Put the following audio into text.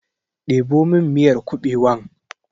Ɗebo min miyar kuɓewan!